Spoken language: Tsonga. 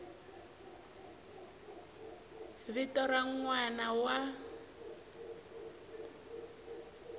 vito ra n wana wa